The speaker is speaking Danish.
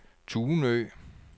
Tunø